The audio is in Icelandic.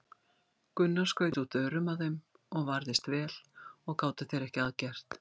Gunnar skaut út örum að þeim og varðist vel og gátu þeir ekki að gert.